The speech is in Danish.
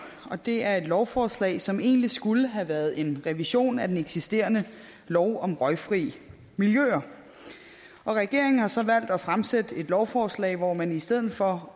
og det er et lovforslag som egentlig skulle have været en revision af den eksisterende lov om røgfri miljøer regeringen har så valgt at fremsætte et lovforslag hvor man i stedet for